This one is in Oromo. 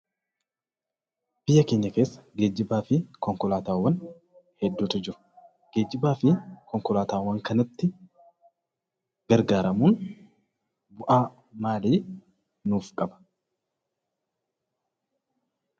Biyya keenya keessa geejjibaa fi Konkolaataawwan hedduutu jiru. Geejjibaa fi Konkolaataawwan kanatti gargaaramuun bu'aa maalii nuuf qaba?